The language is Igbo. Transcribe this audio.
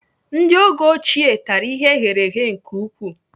Ndị oge ochie tara ihe eghereghe nke ukwuu.